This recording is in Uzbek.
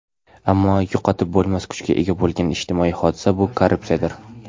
ammo yo‘qotib bo‘lmas kuchga ega bo‘lgan ijtimoiy hodisa – bu korrupsiyadir.